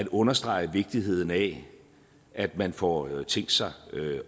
understrege vigtigheden af at man får tænkt sig